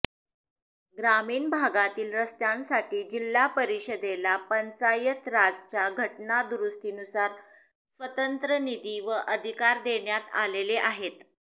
ग्रामीण भागातील रस्त्यांसाठी जिल्हा परिषदेला पंचायतराजच्या घटनादुरुस्तीनुसार स्वतंत्र निधी व अधिकार देण्यात आलेले आहेत